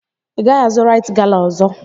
Ị gaghị azụ raịt gala ọzọ!